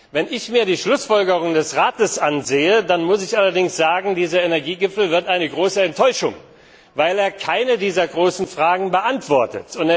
Wenn ich mir die Schlussfolgerungen des Rates ansehe, dann muss ich allerdings sagen, dass dieser Energiegipfel eine große Enttäuschung wird, weil er keine dieser großen Fragen beantwortet.